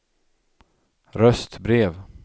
röstbrev